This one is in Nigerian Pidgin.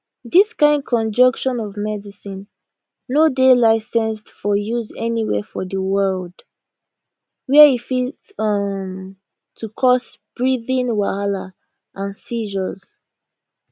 dis kind conjunction of medicine no dey licensed for use anywhere for di world wia e fit um to cause breathing wahala and seizures